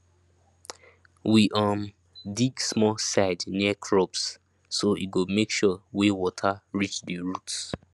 we um dig small side near crops so e go make sure way water reach the roots